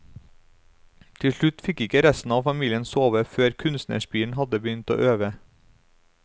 Til slutt fikk ikke resten av familien sove før kunstnerspiren hadde begynt å øve.